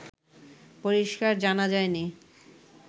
পরিস্কার জানা যায়নি